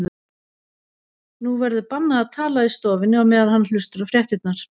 Nú verður bannað að tala í stofunni á meðan hann hlustar á fréttirnar.